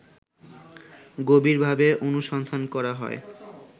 গভীরভাবে অনুসন্ধান করা হয়